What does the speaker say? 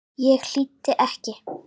Ég hlýddi ekki.